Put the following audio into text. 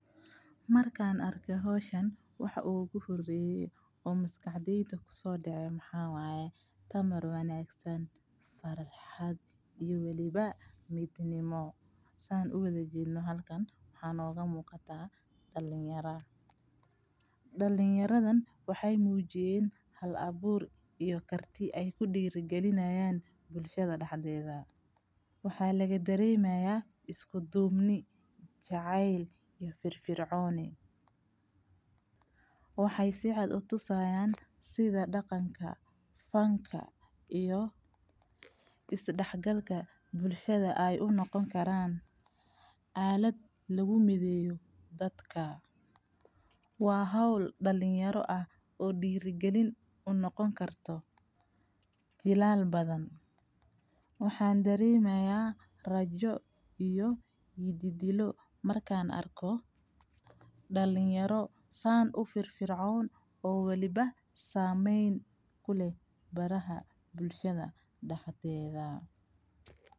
Markaan arko hawshan, waxa uu guhurayay oo maskaxdiinta ku soo dhacay maxaa waaye tamar wanagsan, farxad iyo waliba midniimo saan u wada jidhno halkan waxaan oga muuqataa dhalin yara. Dhalin yaradan waxay muujiyeen hal abuur iyo karti ay ku dhiirigelinayaan bulshada dhaxdeeda. Waxaa laga dareemayaa isku duumni, jacayl iyo firfircoon. Waxay si cad u tusayaan sida dhaqanka, fanka iyo isdhaxgalka bulshada ay u noqon karaan. caalad lagu midayey dadka waa hawl dhalinyaro ah oo dhiirigelin u noqon karto. Jilaal badan. Waxaan dareemayaa rajo iyo yidhi dilo. Markaan arko dhalinyaro saan u firfircoon oo waliba saamayn kule baraha bulshada dhaxdeeda.